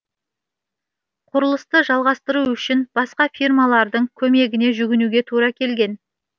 құрылысты жалғастыру үшін басқа фирмалардың көмегіне жүгінуге тура келген